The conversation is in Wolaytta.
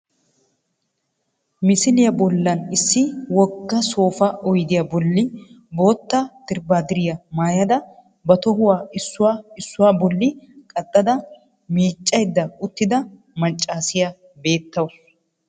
Misiliya bollan issi wogga soopaa oydiya bolli bootta dirbbaadiriya maayada ba tohuwa issuwa issuwa bolli qaxxada miiccaydda uttida maccaasiya beettawusu